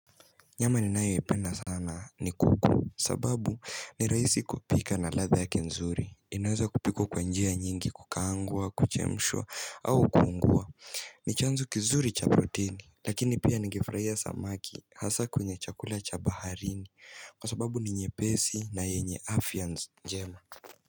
Nyama ninayoipenda sana ni kuku sababu ni rahisi kupika na latha yake nzuri inaweza kupikwa kwa njia nyingi kukaangwa, kuchemshwa au kuungua ni chanzo kizuri cha protein Lakini pia ningefurahia samaki hasa kwenye chakula cha baharini Kwa sababu ni nyepesi na yenye afya njema.